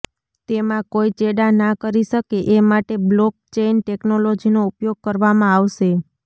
તેમાં કોઇ ચેડાં ના કરી શકે એ માટે બ્લોક ચેઇન ટેક્નોલોજીનો ઉપયોગ કરવામાં આવશે